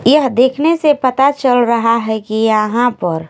यह देखने से पता चल रहा है कि यहां पर--